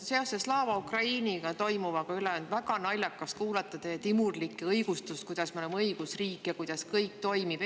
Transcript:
No Slava Ukrainiga toimunu on väga naljakas kuulata teie timurlikke õigustusi, kuidas me oleme õigusriik ja kuidas kõik toimib.